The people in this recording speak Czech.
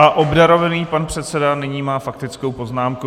A obdarovaný pan předseda má nyní faktickou poznámku.